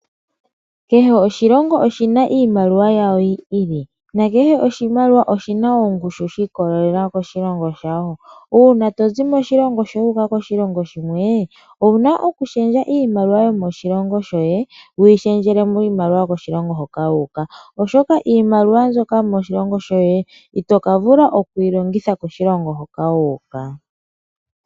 Kehe oshilongo oshina iimaliwa yawo yiili . Kehe oshimaliwa oshina ongushu shiikolelela koshilongo shawo. Uuna tozi moshilongo wuuka koshilongo shimwe, owuna okushendja iimaliwa yomoshilongo shoye wuyi shendjele miimaliwa yomoshilongo shoka wuuka, oshoka iimaliwa mbyoka yomoshilongo shoye itoka vula wukeyi longithe moshilongo moka wuuka.